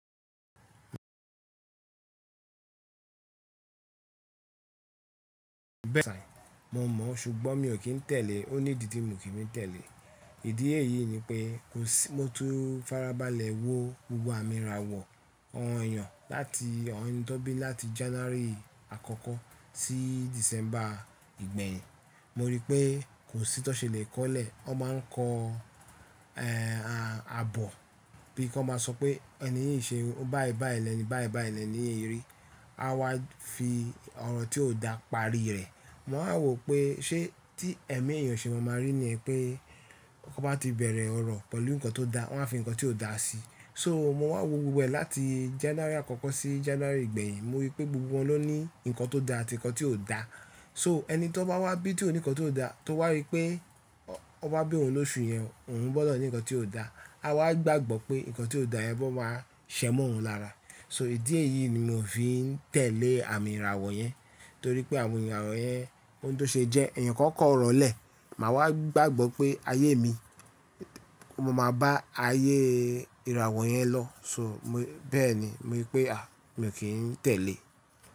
Bẹ́ẹ̀ni, mo mọ̀, ṣùgbọ́n mi ò kí ń tẹ̀lé. Ó ní ìdí tí mo kì í tẹ̀lé. Ìdí èyí ni pé kò sí, mo tun farabalẹ̀ wo gbogbo àmì ìràwọ̀ awon eeyàn láti awon eni ti won bí láti January àkọ́kọ́ sí December ìgbẹ̀yìn. Mo rí pé kò sí ti won ṣe le kọ́lẹ̀. Wọ́n máa ń kọ a-abọ̀ bí i kí wọ́n máa sọ pé ẹni yìí ṣe báyìí báyìí lẹ́ni, báyìí báyìí lẹ́ni yìí rí. A wá fi ọ̀rọ̀ tí ò dá pari rẹ̀. Mo wa wò pé ṣé tí ẹ̀mí èèyàn ṣe máa ma rí ni yen pé kò bá ti bẹ̀rẹ̀ ọ̀rọ̀ pẹ̀lú nǹkan tó dá, wọ́n á fi nǹkan tí ò dá sí i. So mo wá wo gbogbo ẹ̀ láti January àkọ́kọ́ sí January ìgbẹ̀yìn. Mo rí pé gbogbo wọn ló ní nǹkan tó dá àti nǹkan tí ò dá. So ẹni tí ó bá wá bí tí ó ní nǹkan tó dá, tó wá rí pé ó bá bí òun lóṣù yẹn, òun gbọ́dọ̀ ní nǹkan tí ò dá. A wá gbàgbọ́ pé nǹkan tí ò dá yẹn bọ́ máa ṣẹ́mọ́ òun lára. So ìdí èyí ni mo fi ń tẹ̀lé àmì ìràwọ̀ yẹn. Nítorí pé àwọn ìràwọ̀ yẹn ohun tó ṣe jẹ́, ẹ̀yàn kan kọ ọ̀rọ̀ lẹ̀, màá wá gbàgbọ́ pé ayé mi, o máa ma bá ayé ìràwọ̀ yẹn lọ. So mo-bẹ́ẹ̀ ni, mo rí pé, à, mi ò kí ń tẹ̀lé.